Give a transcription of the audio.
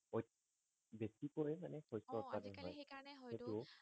কি কৰে মানে শস্য উৎপাদন হয় অ আজি কালি সেই কাৰণে হয়টো